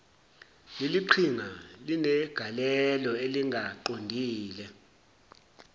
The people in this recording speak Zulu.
leliqhinga linegalelo elingaqondile